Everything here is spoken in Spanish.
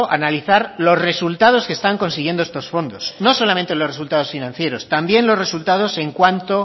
analizar los resultados que están consiguiendo estos fondos no solamente los resultados financieros también los resultados en cuanto